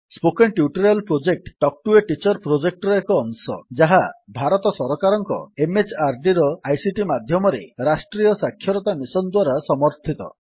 spoken tutorial project talk to a teacher ପ୍ରୋଜେକ୍ଟର ଏକ ଅଂଶ ଯାହା ଭାରତ ସରକାରଙ୍କ MHRDର ଆଇସିଟି ମାଧ୍ୟମରେ ରାଷ୍ଟ୍ରୀୟ ସାକ୍ଷରତା ମିଶନ୍ ଦ୍ୱାରା ସମର୍ଥିତ